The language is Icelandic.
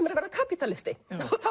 er að verða kapítalisti